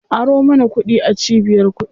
Aro mana kuɗi a cibiyar kuɗi.